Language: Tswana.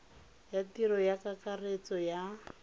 ya tiro ya kakaretso ya